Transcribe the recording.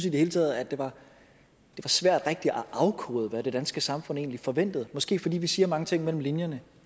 i det hele taget at det var svært rigtig at afkode hvad det danske samfund egentlig forventede måske fordi vi siger mange ting mellem linjerne